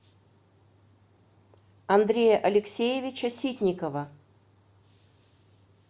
андрея алексеевича ситникова